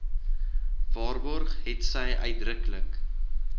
waarborg hetsy uitdruklik